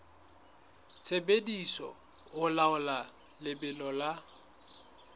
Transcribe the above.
sebediswa ho laola lebelo la